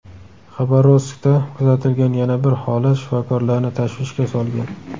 Xabarovskda kuzatilgan yana bir holat shifokorlarni tashvishga solgan.